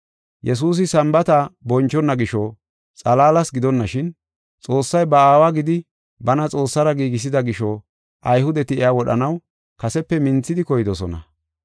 Yesuusi Sambaata bonchona gisho xalaalas gidonashin Xoossay ba Aawa gidi bana Xoossara giigisida gisho, Ayhudeti iya wodhanaw kasepe minthidi koydosona.